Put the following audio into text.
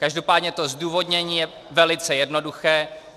Každopádně to zdůvodnění je velice jednoduché.